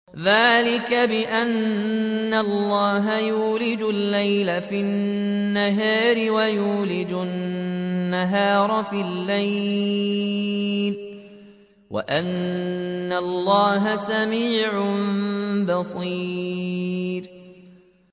ذَٰلِكَ بِأَنَّ اللَّهَ يُولِجُ اللَّيْلَ فِي النَّهَارِ وَيُولِجُ النَّهَارَ فِي اللَّيْلِ وَأَنَّ اللَّهَ سَمِيعٌ بَصِيرٌ